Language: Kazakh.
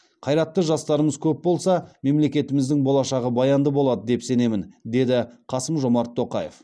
қайратты жастарымыз көп болса мемлекетіміздің болашағы баянды болады деп сенемін деді қасым жомарт тоқаев